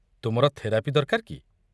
ତୁମର ଥେରାପି ଦରକାର କି?